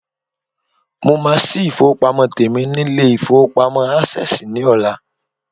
Mo máa sí ifowopamo tèmi nilé-ifowopamo access ní ọlá.